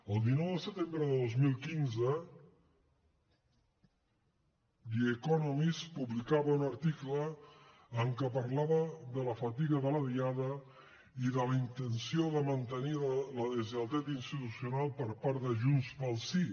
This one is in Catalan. el dinou de setembre de dos mil quinze the economist publicava un article en què parlava de la fatiga de la diada i de la intenció de mantenir la deslleialtat institucional per part de junts pel sí